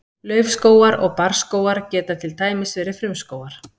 Laufskógar og barrskógar geta til dæmis verið frumskógar.